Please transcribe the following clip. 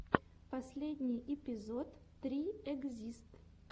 последний эпизод три экзист